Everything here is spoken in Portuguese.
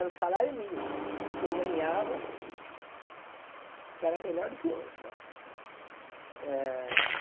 Era o salário mínimo que eu ganhava, que era melhor do que hoje né. Hã